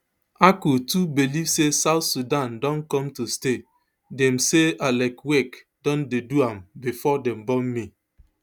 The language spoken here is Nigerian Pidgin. akol too believe say south sudan don come to stay dem say alek wek don dey do am before dem born me